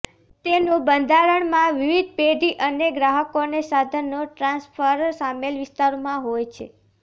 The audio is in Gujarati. તેનું બંધારણ માં વિવિધ પેઢી અને ગ્રાહકોને સાધનો ટ્રાન્સફર સામેલ વિસ્તારોમાં હોય છે